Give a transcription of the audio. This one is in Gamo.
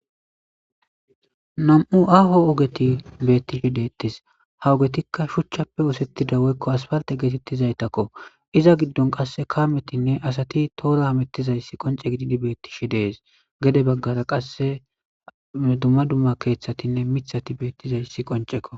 nam7u aaho ogeti beettishe deettis hawogetikka shuchchappe oosettida woykko aspalte geetettizaytakko iza giddon qasse kaametinne asati toora amettizayssi qonce gididi beettishi dees gede baggara qasse dumma dumma keeththatinne mithati beettizayssi qoncekko